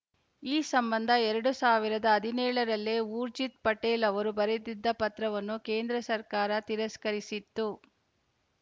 ಈ ಸಂಬಂಧ ಎರಡು ಸಾವಿರದ ಹದಿನೇಳ ರಲ್ಲೇ ಊರ್ಜಿತ್‌ ಪಟೇಲ್‌ ಅವರು ಬರೆದಿದ್ದ ಪತ್ರವನ್ನು ಕೇಂದ್ರ ಸರ್ಕಾರ ತಿರಸ್ಕರಿಸಿತ್ತು